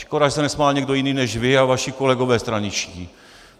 Škoda, že se nesmál někdo jiný než vy a vaši kolegové straničtí.